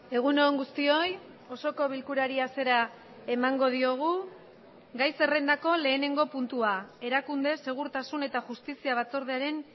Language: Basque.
egun on guztioi osoko bilkurari hasiera emango diogu gai zerrendako lehenengo puntua erakunde segurtasun eta justizia batzordearen